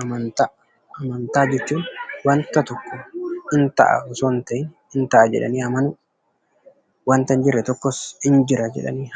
Amantaa Amantaa jechuun wanta tokko hin ta'a osoo hin ta'in hin ta'a jedhanii amanuu, wanta hin jirre tokkos hin jira